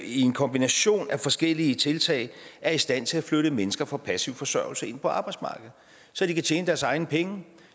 en kombination af forskellige tiltag er i stand til at flytte mennesker fra passiv forsørgelse og ind på arbejdsmarkedet så de kan tjene deres egne penge